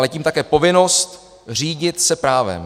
Ale tím také povinnost řídit se právem.